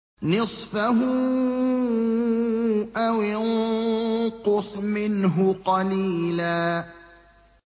نِّصْفَهُ أَوِ انقُصْ مِنْهُ قَلِيلًا